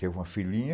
Teve uma filhinha.